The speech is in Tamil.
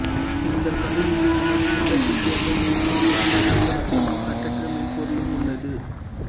இந்த கருவியில் நமது விருப்பத்திற்கேற்ப மென்பொருள் வடிவமைக்க வசதியும் கட்டற்ற மென்பொருளும் உள்ளது